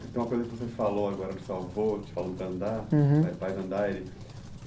Tem uma coisa que você falou agora do seu avô, te falando para andar. Uhum.